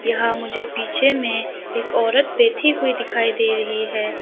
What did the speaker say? यहां मुझे पीछे में एक औरत बैठी हुई दिखाई दे रही है।